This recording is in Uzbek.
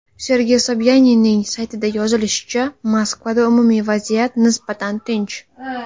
Sergey Sobyaninning saytida yozilishicha, Moskvada umumiy vaziyat nisbatan tinch.